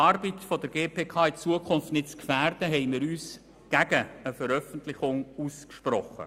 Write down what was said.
Um die Arbeit der GPK in Zukunft nicht zu gefährden, haben wir uns gegen eine Veröffentlichung ausgesprochen.